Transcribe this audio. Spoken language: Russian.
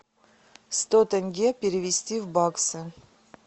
сто тенге перевести в баксы